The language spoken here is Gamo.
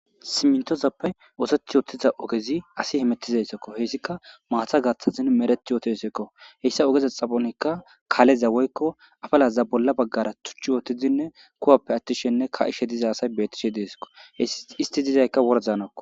simintozappey ooseth yootiza ogezi asi hemettizayssakko hessika maatha gaththazin mereti yootosekko heyssa ogeza xaponekka kaaleza woykko afalaza bolla baggara tuchchi wootidinne kuwappe attishenne ka7ishe diza asay bettishe deesakko hei isti dizaykka wordanako